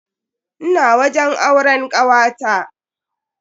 Ina wajen auren kawata.